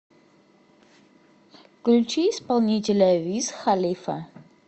включи исполнителя виз халифа